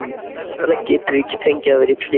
Hvers vegna getum við ekki fengið að vera í friði?